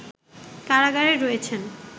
কারাগারে রয়েছেন